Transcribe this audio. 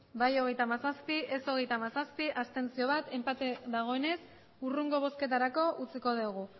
bai hogeita hamazazpi ez hogeita hamazazpi abstentzioak bat enpate dagoenez hurrengo bozketarako utziko dugu